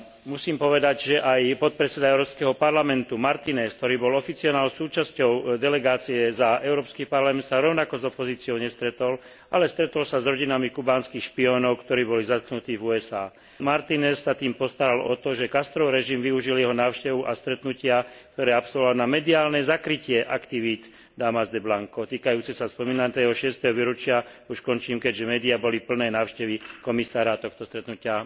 Musím povedať, že aj podpredseda Európskeho parlamentu, Martinéz, ktorý bol oficiálnou súčasťou delegácie za Európsky parlament, sa rovnako s opozíciou nestretol, ale stretol sa s rodinami kubánskych špiónov, ktorí boli zatknutí v USA. Martinéz sa tým postaral o to, že Castrov režim využil jeho návštevu a stretnutia, ktoré absolvoval, na mediálne zakrytie aktivít Damas de Blanco týkajúcich sa spomínaného 6. výročia, keďže médiá boli plné návštevy komisára a tohto stretnutia.